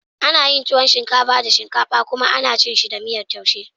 Ana yin tuwon shinkafa da shinkafa kuma ana cin sa da miyar taushe.